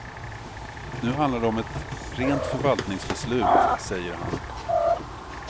Nu handlar det om ett rent förvaltningsbeslut, säger han.